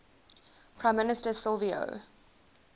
prime minister silvio